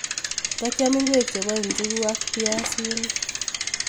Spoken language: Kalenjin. takiam ikwek chebo ichukuk ak biasinik.